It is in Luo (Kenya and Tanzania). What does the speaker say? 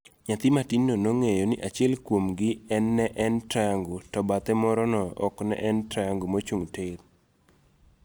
Nyathi matin no nong'eyo ni achiel kuom gi en ne en triangle to bathe morono ok ne en triangle mochung' tir.